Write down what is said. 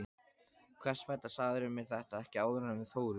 Hvers vegna sagðirðu mér þetta ekki áður en við fórum?